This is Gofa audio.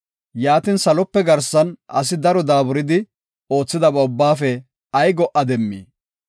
Yaatin, salope garsan asi daro daaburidi oothidaba ubbaafe ay go77a demmii?